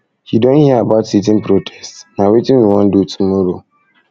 you don hear about sitin protest na wetin we wan do tomorrow